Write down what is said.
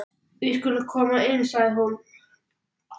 Við skulum koma inn, sagði hún.